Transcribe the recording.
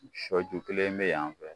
Sɔju kelen bɛ yan